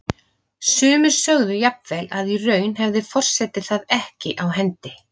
Sumir sögðu jafnvel að í raun hefði forseti það ekki á hendi.